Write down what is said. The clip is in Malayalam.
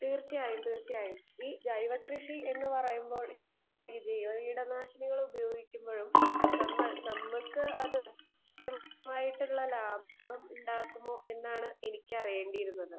സ്പീക്കർ 2 ഈ ജൈവ കൃഷി എന്ന് പറയുമ്പോൾ ജീവകീടനാശിനികൾ ഉപയോഗിക്കുമ്പോഴും നമ്മക്ക് അത് കൃത്യമായിട്ടുള്ള ലാഭം ഉണ്ടാക്കുമോ എന്നാണ് എനിക്ക് അറിയേണ്ടിയിരുന്നത്